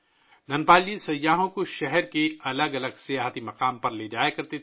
دھن پال جی سیاحوں کو شہر کے مختلف سیاحتی مقامات پر لے جایا کرتے تھے